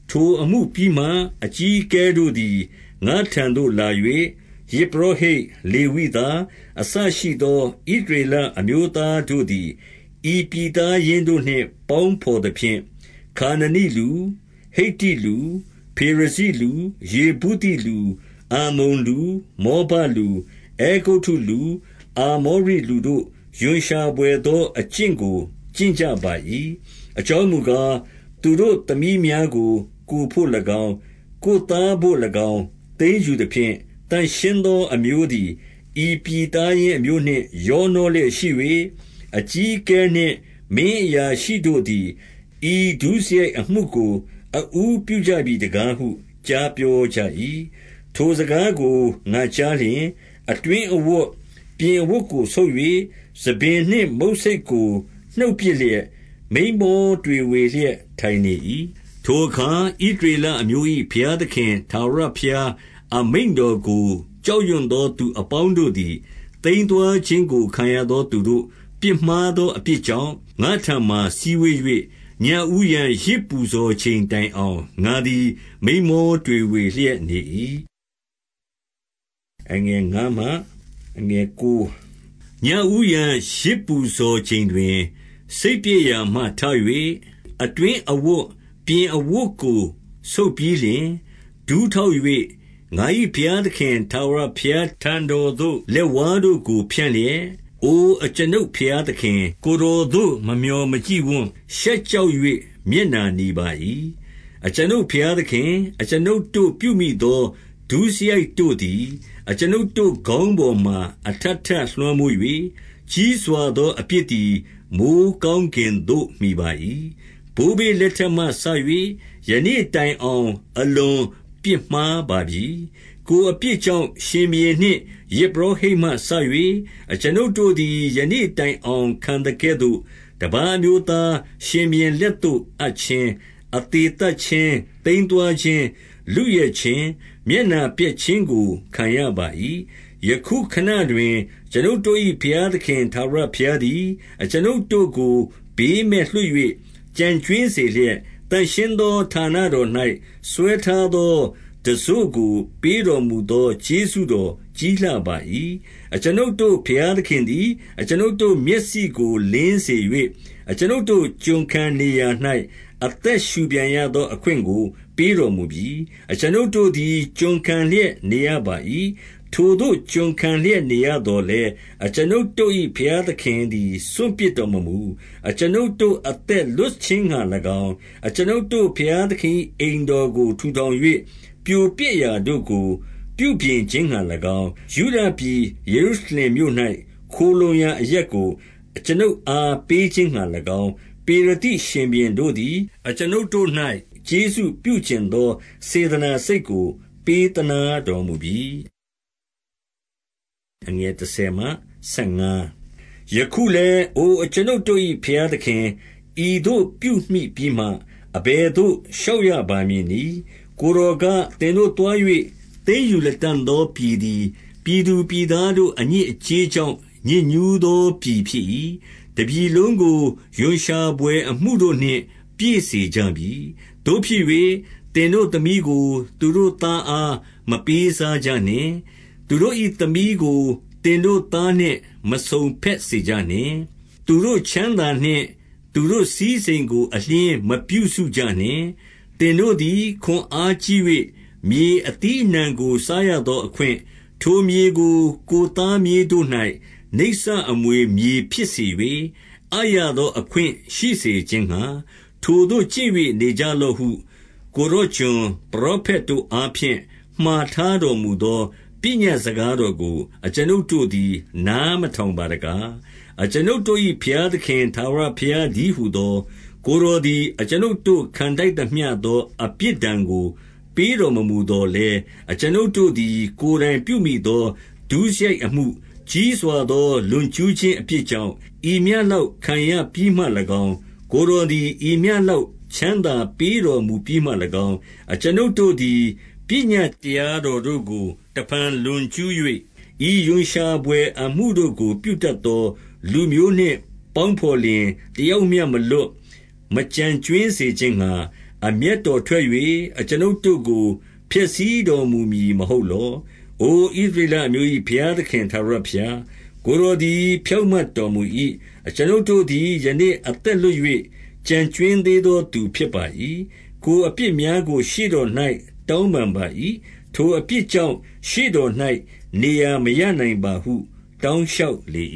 ထိုအမှုပြီးမှ၊ အကြီးအကဲတို့သည် ငါ့ထံသို့ လာ၍ ယဇ်ပုရောဟိတ်၊ လေဝိသားအစရှိသော ဣသရေလ အမျိုးသားတို့သည် ဤပြည်သားရင်းတို့နှင့် ပေါင်းဘော် သဖြင့်၊ ခါနာနိလူ၊ ဟိတ္တိလူ၊ ဖေရဇိလူ၊ ယေဗုသိလူ၊ အမ္မုန်လူ၊ မောဘလူ၊ အဲဂုတ္တုလူ၊ အာမောရိလူတို့ ရွံရှာ ဘွယ်သော အကျင့်ကို ကျင့်ကြပါ၏။ အကြောင်းမူကား၊ သူတို့သမီးများကို ကိုယ်ဘို့၎င်း၊ ကိုယ်သားဘို့၎င်း၊ သိမ်းယူသဖြင့်၊ သန့်ရှင်းသော အမျိုး သည် ဤပြည်သားရင်းအမျိုးနှင့် ရောနှောလျက်ရှိ၍၊ အကြီးအကဲနှင့် မင်းအရာရှိတို့သည်၊ ဤဒုစရိုက် အမှုကို အဦးပြုကြပြီတကားဟု ကြားပြောကြ၏။ ထိုစကားကို ငါကြားလျှင် အတွင်းအဝတ်၊ အပြင် အဝတ်ကို ဆုတ်၍ဆံပင်နှင့် မုတ်ဆိတ်ကို နှုတ်ပစ်လျက်၊ မိန်းမောတွေဝေလျက် ထိုင်နေ၏။ ထိုအခါ ဣသရေလအမျိုး၏ ဘုရားသခင် ထာဝရဘုရား အမိန့်တော်ကို ကြောက်ရွံသောသူအပေါင်း တို့သည်၊ သိမ်းသွားခြင်းကို ခံရသောသူတို့ ပြစ်မှားသော အပြစ်ကြောင့်၊ ငါ့ထံမှာစည်းဝေး၍၊ ညဦးယံ ယဇ်ပူဇော် ချိန်တိုင်အောင် ငါသည် မိန်းမောတွေဝေလျက် နေ၏။ ညဦးယံ ယဇ်ပူဇော်ချိန်တွင်၊ စိတ်ပျက်ရာမှထ၍ အတွင်းအဝတ်၊ ပြင်အဝတ်ကို ဆုတ်ပြီးလျှင်၊ ဒူးထောက်၍၊ ငါ၏ ဘုရားသခင် ထာဝရဘုရားထံတော်သို့ လက်ဝါးတို့ကို ဖြန့်လျက်၊ အို အကျွန်ုပ်ဘုရားသခင်၊ ကိုယ်တော်သို့ မမျှော် မကြည့်ဝံ့၊ ရှက်ကြောက်၍ မျက်နှာနီပါ၏။ အကျွန်ုပ်ဘုရား သခင်၊ အကျွန်ုပ်တို့ ပြုမိသော ဒုစရိုက်တို့သည် အကျွနုပ်တို့ ခေါင်းပေါ်မှာ အထပ်ထပ်လွှမ်းမိုး၍၊ ကြီးစွာသော အပြစ်သည် မိုဃ်းကောင်းကင်သို့ မှီပါ၏။ ဘိုးဘေးလက်ထက်မှစ၍ ယနေ့တိုင်အောင်၊ အလွန်ပြစ်မှားပါပြီ။ ကိုယ်အပြစ်ကြောင့် ရှင်ဘုရင်နှင့် ယဇ်ပုရောဟိတ်မှစ၍၊ အကျွန်ုပ်တို့သည် ယနေ့တိုင်အောင် ခံသကဲ့သို့၊ တပါးအမျိုးသားရှင်ဘုရင်လက်သို့ အပ်ခြင်း၊ အသေသတ်ခြင်း၊ သိမ်းသွားခြင်း၊ လုယက်ခြင်း၊ မျက်နှာ ပျက်ခြင်းကို ခံရပါ၏။ ယခုခဏတွင်၊ အကျွန်ုပ်တို့၏ ဘုရားသခင် ထာဝရဘုရားသည်၊ အကျွန်ုပ်တို့ကို ဘေးမဲ့လွှတ်၍ ကျန် ကြွင်းစေလျက်၊ သန့်ရှင်းသော ဌာနတော်၌ စွဲထားသော တံစို့ကို ပေးတော်မူသော ကျေးဇူးတော်ကြီးလှပါ၏။ အကျွန်ုပ်တို့ဘုရားသခင်သည် အကျွန်ုပ်တို့ မျက်စိကို လင်းစေ၍၊ အကျွန်ုပ်တို့ ကျွန်ခံနေရာ၌ အသက်ရှုပြန်ရ သော အခွင့်ကို ပေးတော်မူပြီ။ အကျွန်ုပ်တို့သည် ကျွန်ခံလျက်နေရပါ၏။ ထိုသို့ ကျွန်ခံလျက် နေရသော်လည်း၊ အကျွန်ုပ်တို့၏ ဘုရား သခင်သည် စွန့်ပစ်တော်မမူ။ အကျွန်ုပ်တို့ အသက်လွတ် ခြင်းငှါ၎င်း၊ အကျွန်ုပ်တို့ ဘုရားသခင်၏အိမ်ထောင်ကို ထူထောင်၍၊ ပြိုပျက်ရာတို့ကို ပြုပြင်ခြင်းငှါ၎င်း၊ ယုဒပြည် ယေရုရှလင်မြို့၌ ခိုလှုံရာအရပ်ကို အကျွန်ုပ်အား ပေးခြင်း ငှါ၎င်း၊ ပေရသိရှင်ဘုရင်တို့သည် အကျွန်ုပ်တို့၌ ကျေးဇူး ပြုချင်သော စေတနာစိတ်ကို ပေးသနားတော်မူပြီ။ ယခုလည်း အိုအကျွန်ုပ်တို့၏ ဘုရားသခင်၊ ဤသို့ ပြုမိပြီးမှ၊ အဘယ်သို့ လျှောက်ရပါမည်နည်း။ ကိုယ်တော်က၊ သင်တို့သွား၍ သိမ်းယူလတံ့ သောပြည်သည်၊ ပြည်သူပြည်သားတို့ အညစ်အကြေး ကြောင့် ညစ်ညှုးသော ပြည်ဖြစ်၏။ တပြည်လုံးကို ရွံရှာဘွယ်အမှုတို့နှင့် ပြည့်စုံစေကြပြီ။ သို့ဖြစ်၍ သင်တို့ သမီးကို သူတို့သားအား မပေးစားကြနှင့်။ သူတို့၏သမီး ကို သင်တို့သားနှင့် မစုံဘက်စေကြနှင့်။ သူတို့ချမ်းသာနှင့် သူတို့စည်းစိမ်ကို အလျှင်းမပြုစုကြနှင့်။ သင်တို့သည် ခွန်အားကြီး၍ မြေအသီးအနှံကို စားရသောအခွင့်၊ ထိုမြေ ကို ကိုယ်သားမြေးတို့၌ နစ္စအမွေဖြစ်စေ၍၊ အပ်ရသော အခွင့်ရှိစေခြင်းငှါ၊ ထိုသို့ကျင့်၍ နေကြလော့ဟု ကိုယ် တော် ကျွန်၊ ပရောဖက်တို့အားဖြင့် မှာထားတော်မူသော ပညတ်စကားတော်ကို အကျွန်ုပ်တို့သည် နားမထောင်ပါ တကား။ အကျွန်ုပ်တို့၏ ဘုရားသခင် ထာဝရဘုရား တည်းဟူသော ကိုယ်တော်သည် အကျွန်ုပ်တို့ခံထိုက်သမျှ သော အပြစ်ဒဏ်ကို ပေးတော်မမူသော်လည်း၊ အကျွန်ုပ် တို့သည် ကိုယ်တိုင်ပြုမိသော ဒုစရိုက်အမှု၊ ကြီးစွာသော လွန်ကျူးခြင်းအပြစ်ကြောင့်၊ ဤမျှလောက် ခံရပြီးမှ၎င်း၊ ကိုယ်တော်သည် ဤမျှလောက် ချမ်းသာပေးတော်မူပြီး မှ၎င်း၊ အကျွန်ုပ်တို့သည် ပညတ်တရားတော်တို့ကို တဖန်လွန်ကျူး၍၊ ဤရွံရှာဘွယ်အမှုတို့ကို ပြုတတ်သော လူမျိုးနှင့်ပေါင်းဘော်လျှင် တယောက်မျှမလွတ်၊ မကျန် ကြွင်းစေခြင်းငှါ၊ အမျက်တော်ထွက်၍ အကျွန်ုပ်တို့ကို ဖျက်ဆီးတော်မူမည်မဟုတ်လော။ အို ဣသရေလအမျိုး၏ ဘုရားသခင် ထာဝရ ဘုရား၊ ကိုယ်တော်သည် ဖြောင့်မတ်တော်မူ၏။ အကျွန်ုပ် တို့သည် ယနေ့အသက်လွတ်၍ ကျန်ကြွင်းသေးသောသူ ဖြစ်ပါ၏။ ကိုယ်အပြစ်များကို ရှေ့တော်၌ တောင်းပန် ပါ၏။ ထိုအပြစ်ကြောင့်၊ ရှေ့တော်၌ နေရာမရနိုင်ပါဟု တောင်းလျှောက်လေ